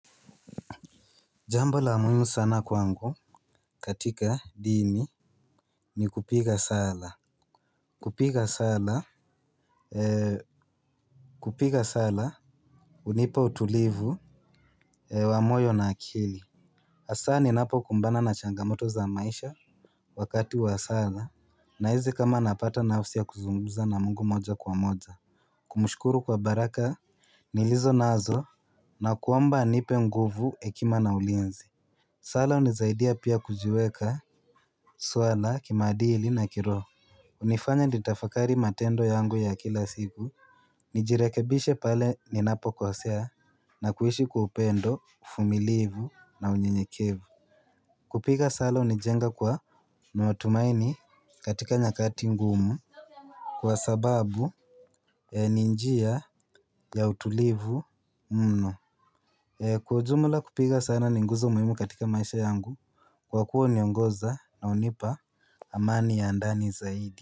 Jambo la muhimu sana kwangu katika dini. Ni kupiga sala. Kupiga sala Eee Kupiga sala hunipa utulivu Eee wa moyo na akili asa ninapo kumbana na changamoto za maisha. Wakati wa sala nahizi kama napata nafsi ya kuzungumza na Mungu moja kwa moja. Kumushkuru kwa baraka nilizo nazo na kuomba anipe nguvu ekima na ulinzi. Sala unisaidia pia kujiweka swala kimaadili na kiroho. Unifanya nitafakari matendo yangu ya kila siku. Nijirekebishe pale ninapo kosea na kuishi kwa upendo, ufumilivu na unyenyekevu. Kupiga sala unijenga kwa miwatumaini katika nyakati ngumu. Kwa sababu ni njia ya utulivu mno. Kwa ujumula kupiga sala ni nguzo muhimu katika maisha yangu. Kwa kuwa uniongoza na unipa amani ya ndani zaidi.